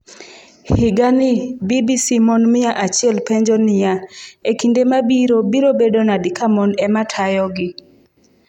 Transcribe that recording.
Higani BBC Mon mia achiel penjo niya: E kinde mabiro biro bedo nade ka mon ema tayogi?